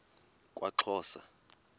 kwaxhosa